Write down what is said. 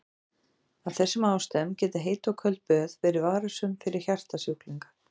Af þessum ástæðum geta heit og köld böð verið varasöm fyrir hjartasjúklinga.